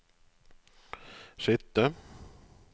sitte